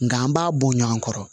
Nga an b'a bɔ ɲɔgɔn kɔrɔ